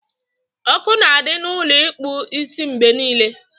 Ọkụ na adị na Ụlọ ịkpụ isimgbe niile